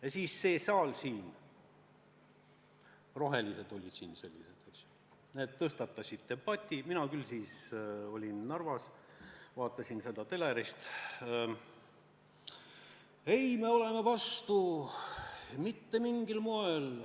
Ja siis see saal, sel ajal olid siin rohelised, tõstatas debati – mina olin siis küll Narvas, vaatasin seda telerist –, et ei, meie oleme vastu, mitte mingil moel!